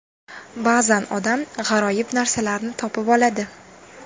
Ba’zan odam g‘aroyib narsalarni topib oladi.